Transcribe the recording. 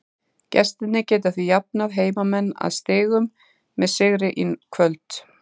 Gestirnir geta því jafnað heimamenn að stigum með sigri í kvöld.